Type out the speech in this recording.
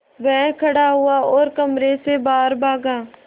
वह खड़ा हुआ और कमरे से बाहर भागा